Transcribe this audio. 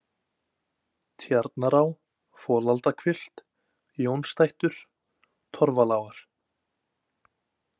Tjarnará, Folaldahvilft, Jónstættur, Torfalágar